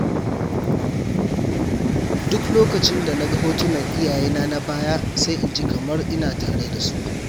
Duk lokacin da na ga hotunan iyayena na baya, sai in ji kamar ina tare da su.